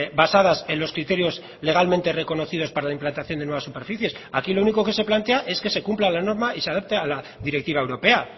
basadas en los criterios legalmente reconocidos para la implantación de nuevas superficies aquí lo único que se plantea es que se cumpla la norma y se adapte a la directiva europea